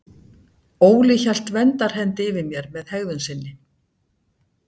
Óli hélt verndarhendi yfir mér með hegðun sinni.